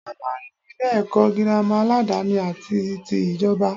A máa n ní Ilé èkó girama aládani àti tí ìjoba